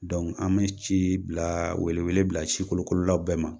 an mi ci bila wele wele bila sikolokololaw bɛɛ ma